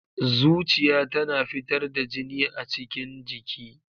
Zuciya tana fitar da jini a cikin jiki.